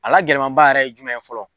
A la gɛlɛmaba yɛrɛ ye jumɛn ye fɔlɔ?